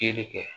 Feere kɛ